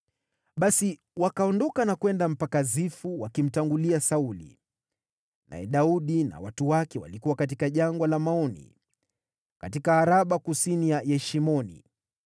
Basi wakaondoka na kwenda mpaka Zifu wakimtangulia Sauli. Naye Daudi na watu wake walikuwa katika Jangwa la Maoni, katika Araba kusini mwa Yeshimoni.